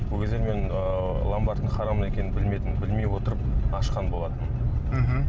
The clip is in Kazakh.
ол кезде мен ыыы ломбардтың харам екенін білмедім білмей отырып ашқан болатынмын мхм